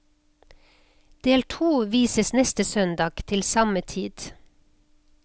Del to vises neste søndag til samme tid.